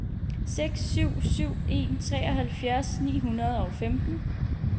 seks syv syv en treoghalvfjerds ni hundrede og femten